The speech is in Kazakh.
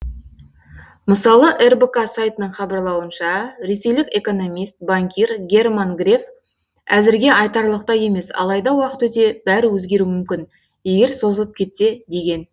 мысалы рбк сайтының хабарлауынша ресейлік экономист банкир герман греф әзірге айтарлықтай емес алайда уақыт өте бәрі өзгеруі мүмкін егер созылып кетсе деген